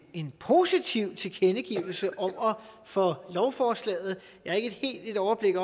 en positiv tilkendegivelse over for lovforslaget jeg har ikke helt overblik